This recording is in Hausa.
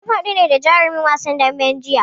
Mu haɗu da jarumin wasan daɓen jiya.